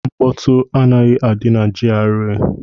Nkpọtu anaghị adị na GRA